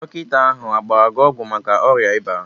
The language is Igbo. Dọkịta ahụ agbara gị ọgwụ maka ọrịa ịba?